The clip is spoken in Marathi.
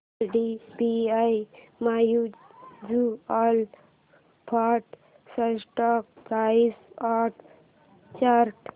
IDBI mutual fund stock price and chart